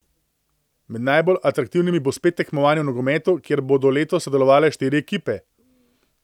Med najbolj atraktivnimi bo spet tekmovanje v nogometu, kjer bodo letos sodelovale štiri ekipe.